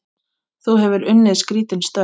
Þú hefur unnið skrítin störf?